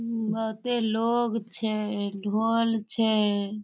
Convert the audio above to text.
बहुते लोग छै ढोल छै।